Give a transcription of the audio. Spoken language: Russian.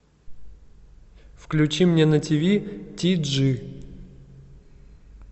включи мне на тв ти джи